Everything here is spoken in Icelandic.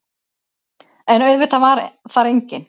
En auðvitað var þar enginn.